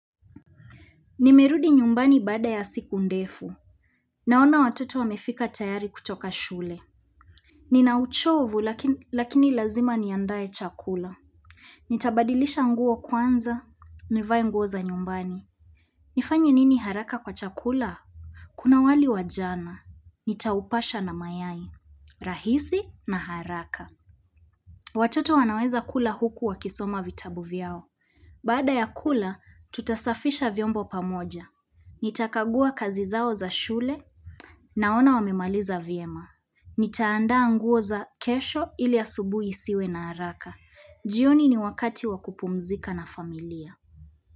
Nimerudi nyumbani baada ya siku ndefu Naona watoto wamefika tayari kutoka shule Nina uchovu lakini lazima niandae chakula Nitabadilisha nguo kwanza nivae nguo za nyumbani nifanye nini haraka kwa chakula? Kuna wali wa jana nitaupasha na mayai rahisi na haraka Watoto wanaweza kula huku wakisoma vitabu vyao Baada ya kula tutasafisha vyombo pamoja Nitakagua kazi zao za shule naona wamemaliza vyema Nitaanda nguo za kesho ili asubuhi isiwe na haraka jioni ni wakati wa kupumzika na familia.